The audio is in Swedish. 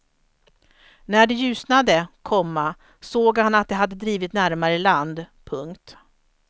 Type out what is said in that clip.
När det ljusnade, komma såg han att de hade drivit närmare land. punkt